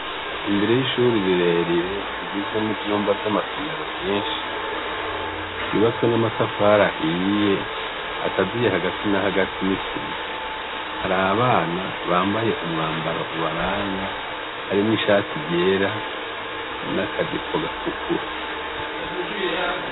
Imbere yishure rirerire rigizwe nivyumba vyamasomero vyinshi yubatswe n'amatafari ahiye akaziye hagati na hagati n'isima hari abana bambaye umwambaro ubaranga harimwo ishati ryera n'akajipo gatukura.